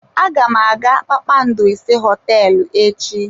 Aga m aga kpakpando ise hoteelu echi.